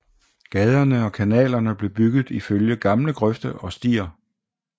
Gaderne og kanalerne blev bygget ifølge gamle grøfter og stier